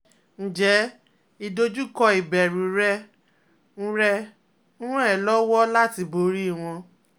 Ǹjẹ́ ìdojúkọ ìbẹ̀rù rẹ ń rẹ ń ràn ẹ́ lọ́wọ́ láti borí wọn?